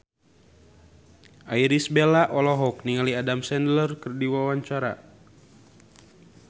Irish Bella olohok ningali Adam Sandler keur diwawancara